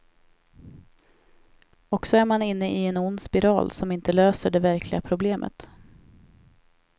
Och så är man inne i en ond spiral som inte lösaer det verkliga problemet.